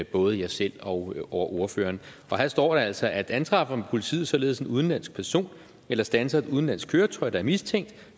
både jeg selv og ordføreren og her står der altså antræffer politiet således en udenlandsk person eller standser et udenlandsk køretøj der er mistænkt